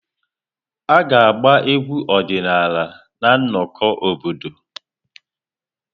A ga-agba egwu ọdịnala na nnọkọ obodo.